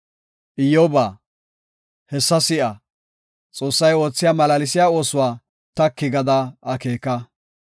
“Iyyoba, hessa si7a; Xoossay oothiya malaalsiya oosuwa taki gada akeeka.